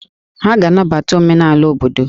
Ha ga-anabata omenala obodo